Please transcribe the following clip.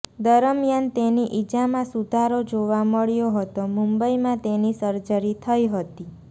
દરમિયાન તેની ઇજામાં સુધારો જોવા મળ્યો હતો મુંબઇમાં તેની સર્જરી થઇ હતી